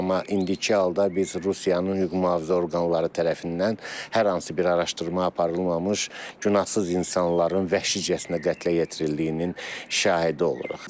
Amma indiki halda biz Rusiyanın hüquq-mühafizə orqanları tərəfindən hər hansı bir araşdırma aparılmamış, günahsız insanların vəhşicəsinə qətlə yetirildiyinin şahidi oluruq.